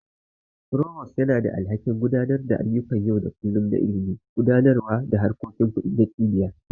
Provost yana da alhakin gudanar da ayyukan yau da kullun na Ilimi, Gudanarwa da harkokin Kudi na Cibiyar.